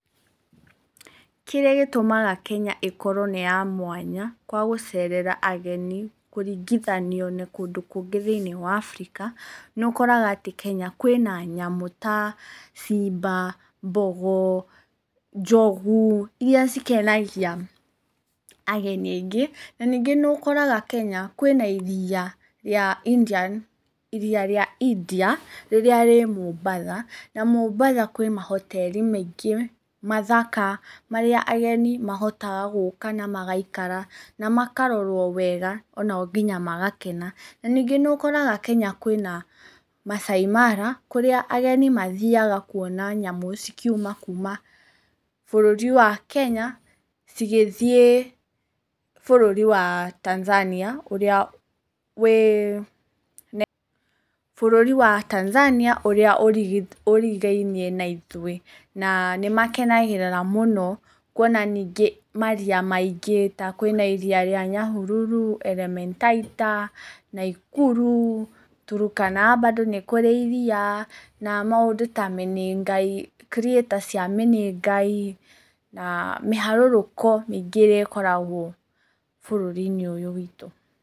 Kĩrĩa gĩtũmaga Kenya ĩkorwo nĩ ya mwanya kwa gũceerera ageni kũringithanio na kũndũ kũngĩ thĩinĩ wa Africa. Nĩ ũkoraga atĩ Kenya kwĩna nyamũ ta simba, mbogo, njogu, irĩa cikenagia ageni aingĩ. Na ningĩ nĩ ũkoraga Kenya kwĩna iria rĩa India rĩrĩa rĩ Mombasa. Na Mombasa kwĩ mahoteri maingĩ mathaka marĩa ageni mahotaga gũũka na magaikara na makarorwo wega ona o nginya magakena. Na ningĩ nĩ ũkoraga Kenya kwĩna Maasai Mara kũrĩa ageni mathiaga kuona nyamũ cikiuma kuma bũrũri wa Kenya cigĩthiĩ bũrũri wa Tanzania ũrĩa wĩ... Bũrũri wa Tanzania ũrĩa ũrigainie na ithuĩ. Na nĩ makenagĩrĩra mũno ta kuona nyingĩ maria maingĩ, ta kwĩna iria rĩa Nyahururu, Elementaita, Nakuru, Turkana bado nĩ kũrĩ iria. Na maũndũ ta Menengai Crater cia Menengai na mĩharũrũko mĩingĩ ĩrĩa ĩkoragwo bũrũri-inĩ ũyũ witũ.